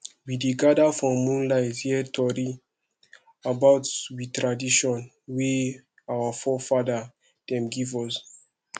we dey gada for moonlight hear tori about we tradition wey our forefada dem give us